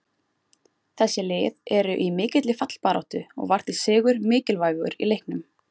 Þessi lið eru í mikilli fallbaráttu og var því sigur mikilvægur í leiknum.